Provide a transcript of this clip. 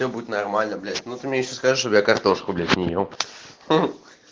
будет нормально блять ну ты мне ещё скажи что я картошку блять не ел